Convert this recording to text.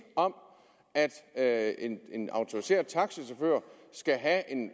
om at en autoriseret taxachauffør skal have